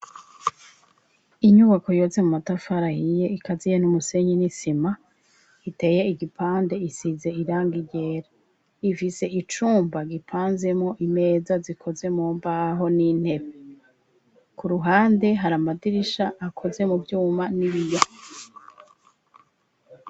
Inyubako yubatse mu matafari ahiye ikaziye n'umusenyi n'isima iteye igipande isize irangi ryera, ifise icumba gipanzemwo imeza zikoze mu mbaho n'intebe, ku ruhande hari amadirisha akoze mu vyuma n'ibiyo.